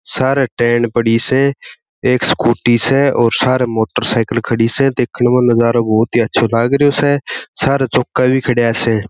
सारे टेन पड़ी स एक स्कूटी स और सारे मोटरसाइकिल खड़ी से देखने में नजारा बहुत ही अच्छा लागरीयो स सारे चौका भी खड़िया स।